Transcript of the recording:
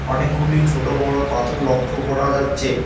অনেকগুলি ছোট বড় পাথর লক্ষ করা যাচ্ছে।